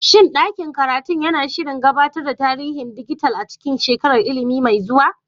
Shin ɗakin karatu yana shirin gabatar da tarihin dijital a cikin shekarar ilimi mai zuwa?